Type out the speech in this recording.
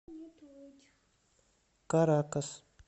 каракас